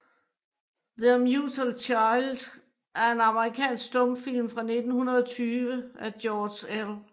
Their Mutual Child er en amerikansk stumfilm fra 1920 af George L